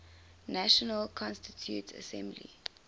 national constituent assembly